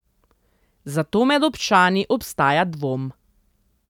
Zato med občani obstaja dvom.